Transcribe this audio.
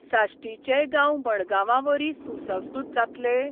साश्टीचेय गांव मडगांवावरी सुसंस्कृत जातले?